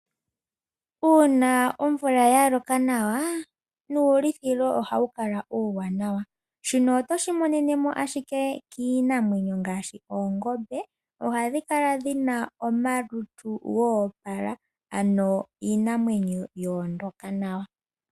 Uuna omvula ya loka nawa, nuulithilo ohawu kala uuwanawa. Shino oto shi imonene owala kiinamwenyo ngaashi oongombe, hano ohadhi kala dhi na omalutu ga opala ano iinamwenyo ohayi kala ya ondoka nawa.